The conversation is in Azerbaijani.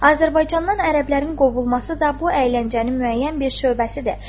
Azərbaycandan ərəblərin qovulması da bu əyləncənin müəyyən bir şöbəsidir.